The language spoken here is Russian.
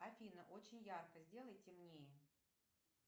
афина очень ярко сделай темнее